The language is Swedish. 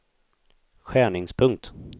skärningspunkt